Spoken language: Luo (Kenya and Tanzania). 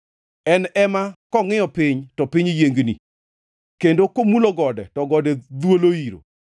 En e ma kongʼiyo piny to piny yiengni, kendo komulo gode to gode dhwolo iro.